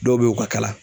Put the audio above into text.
Dɔw be yen u ka kala